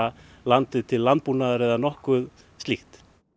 landið til landbúnaðar eða nokkuð slíkt